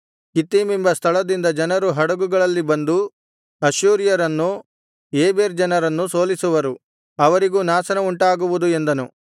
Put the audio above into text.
ಕಿತ್ತೀಮೆಂಬ ಸ್ಥಳದಿಂದ ಜನರು ಹಡಗುಗಳಲ್ಲಿ ಬಂದು ಅಶ್ಶೂರ್ಯರನ್ನೂ ಏಬೆರ್ ಜನರನ್ನೂ ಸೋಲಿಸುವರು ಅವರಿಗೂ ನಾಶನವುಂಟಾಗುವುದು ಎಂದನು